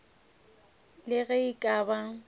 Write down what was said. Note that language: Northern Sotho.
le ge e ka ba